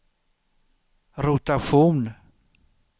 rotation